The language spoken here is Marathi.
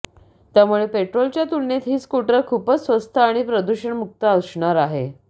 त्यामुळे पेट्रोलच्या तुलनेत ही स्कूटर खूपच स्वस्त आणि प्रदूषणमुक्त असणार आहे